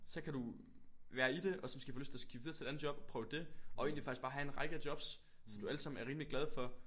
Så kan du være i det og så måske få lyst til at skifte videre til et andet job prøve dét og egentlig bare have en række af jobs som du alle sammen er rimelig glade for